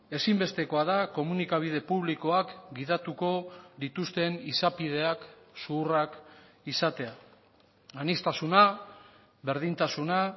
ezinbestekoa da komunikabide publikoak gidatuko dituzten izapideak zuhurrak izatea aniztasuna berdintasuna